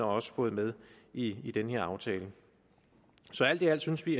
også fået med i i den her aftale alt i alt synes vi